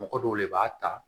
Mɔgɔ dɔw de b'a ta